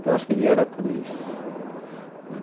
Então, acho que ele era tudo isso né.